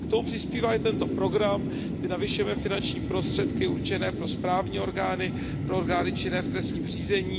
K tomu přispívá i tento program, my navyšujeme finanční prostředky určené pro správní orgány, pro orgány činné v trestním řízení.